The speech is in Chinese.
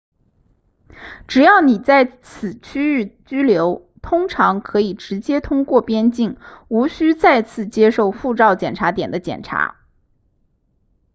只要你在此区域居留通常可以直接通过边境无需再次接受护照检查点的检查